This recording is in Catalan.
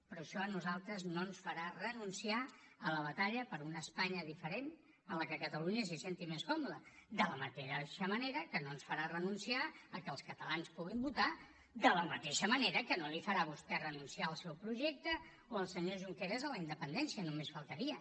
però això a nosaltres no ens farà renunciar a la batalla per una espanya diferent en la qual catalunya se senti més còmoda de la mateixa manera que no ens farà renunciar que els catalans puguin votar de la mateixa manera que no li farà a vostè renunciar al seu projecte o el senyor junqueras a la independència només faltaria